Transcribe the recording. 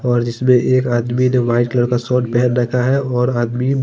और इसमें एक आदमी ने वाइट कलर का शर्ट पहना रखा है और आदमी--